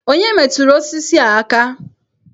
Onye metụrụ osisi a aka?